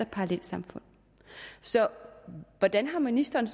parallelsamfund så hvordan har ministeren